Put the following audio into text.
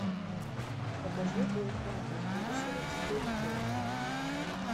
покажи бойфренд из будущего четыре кей